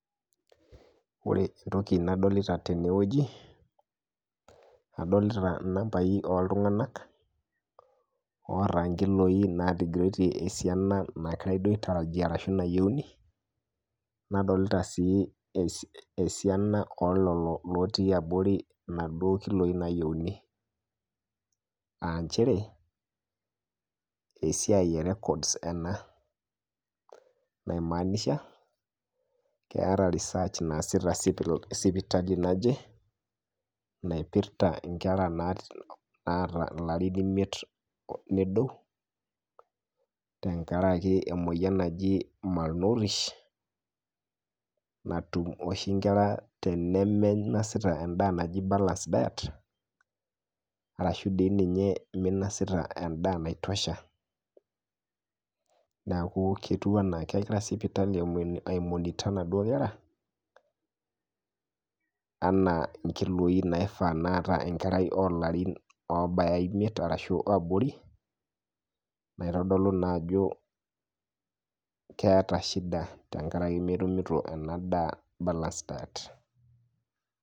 Ore entoki nadolita teneweji, adolita nambaii ooltunganak oorankiloi naatigirotie esiana nagirai duo aitarajia ashu nayeuni, nadolita sii esian oo lelo otii abori naduo ilkiloi naayeuni aa inchere esiaai e records ana naimaanisha keat research naasita sipitali naje naipirta inkerra naata larin imiket nedou, tengaraki emoyian najii malnourish natum oshii inkerra tenemeinosita endaa naji balace diet arashu dei ninye emeinosita endaa naitosha, neaku ketiu anaa kegira sipitali aimonitor naduo kerra anaa inkiloi naifaa neata inkerai olarin obaya imiet arashu oabori naitodolu naa ajo keata shida tengaraki naa emetumuto ena daa e balance diet.